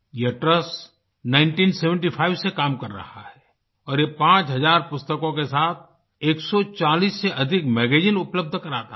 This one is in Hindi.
यह ट्रस्ट 1975 से काम कर रहा है और ये 5000 पुस्तकों के साथ 140 से अधिक मैगज़ीन उपलब्ध कराता है